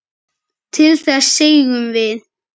Til þess segjum við.